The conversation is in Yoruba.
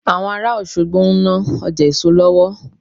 Àwọn ará Òṣogbo ń ná Ọjà èso lọ́wọ́